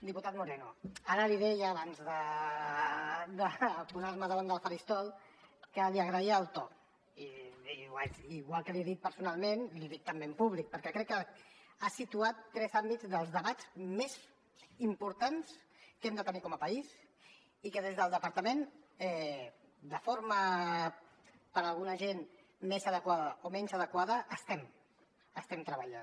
diputat moreno ara li deia abans de posar me davant del faristol que li agraïa el to igual que l’hi he dit personalment i l’hi dic també en públic perquè crec que ha situat tres àmbits dels debats més importants que hem de tenir com a país i en què des del departament de forma per a alguna gent més adequada o menys adequada estem treballant